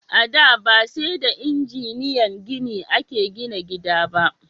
A da, ba sai da injiniyan gini a ke gina gida ba